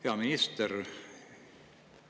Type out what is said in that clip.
Hea minister!